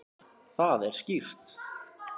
Það er skýrt.